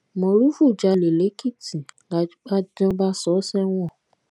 morufú jalè lẹkìtì làdájọ bá sọ ọ sẹwọn